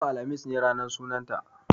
Yau, alhamis, ne ranar sunan ta